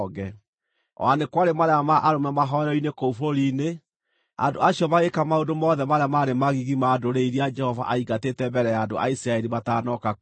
O na nĩ kwarĩ maraya ma arũme mahooero-inĩ kũu bũrũri-inĩ; andũ acio magĩĩka maũndũ mothe marĩa maarĩ magigi ma ndũrĩrĩ iria Jehova aaingatĩte mbere ya andũ a Isiraeli matanoka kuo.